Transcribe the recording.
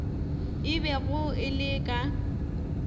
e bego e le ka